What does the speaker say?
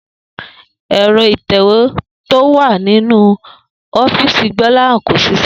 È̩ro̩ ìtè̩wé tó wà nínú ó̩fíìsì Gbó̩láhàn kò s̩is̩é̩